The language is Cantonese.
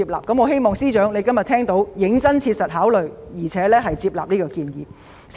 我希望司長能夠切實考慮接納這建議。